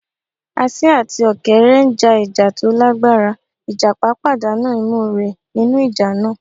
Asín àti Ọ̀kẹ́rẹ́ n já ìjà tó lágbára, ìjàpá pàdánà imú rẹ̀ nínú ìjà náà